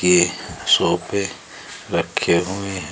ये सोफे रखे हुए है।